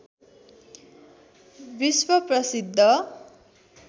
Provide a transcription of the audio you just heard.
विश्व प्रसिद्ध